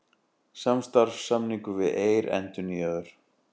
Samstarfssamningur við Eir endurnýjaður